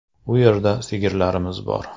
U yerda sigirlarimiz bor.